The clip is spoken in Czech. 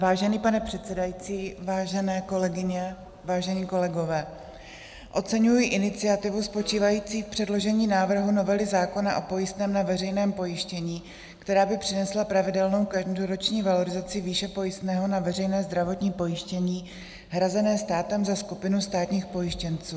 Vážený pane předsedající, vážené kolegyně, vážení kolegové, oceňuji iniciativu spočívající v předložení návrhu novely zákona o pojistném na veřejném pojištění, která by přinesla pravidelnou každoroční valorizaci výše pojistného na veřejné zdravotní pojištění hrazené státem za skupinu státních pojištěnců.